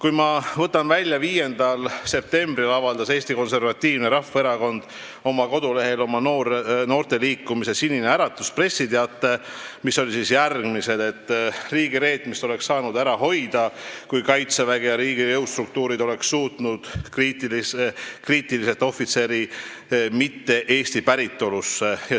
Mind teeb murelikuks tegelikult see, et 5. septembril avaldas Eesti Konservatiivne Rahvaerakond oma koduleheküljel noorteliikumise Sinine Äratus pressiteate, milles on kirjas, et riigireetmist oleks saanud ära hoida, kui Kaitsevägi ja riigi jõustruktuurid oleks suhtunud kriitiliselt ohvitseri mitte-eesti päritolusse.